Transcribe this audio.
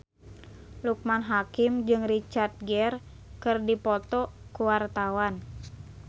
Loekman Hakim jeung Richard Gere keur dipoto ku wartawan